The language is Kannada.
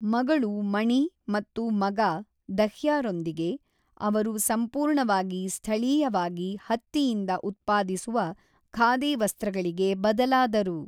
ಮಗಳು ಮಣಿ ಮತ್ತು ಮಗ ದಹ್ಯಾರೊಂದಿಗೆ, ಅವರು ಸಂಪೂರ್ಣವಾಗಿ ಸ್ಥಳೀಯವಾಗಿ ಹತ್ತಿಯಿಂದ ಉತ್ಪಾದಿಸುವ ಖಾದಿ ವಸ್ತ್ರಗಳಿಗೆ ಬದಲಾದರು.